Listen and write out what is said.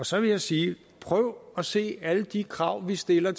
så vil jeg sige prøv at se alle de krav vi stiller